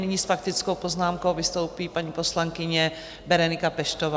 Nyní s faktickou poznámkou vystoupí paní poslankyně Berenika Peštová.